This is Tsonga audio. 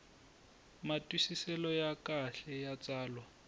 matwisiselo ya kahle ya tsalwa